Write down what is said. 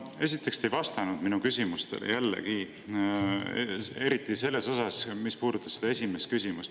Esiteks, te jällegi ei vastanud minu küsimustele, eriti selles osas, mis puudutas seda esimest küsimust.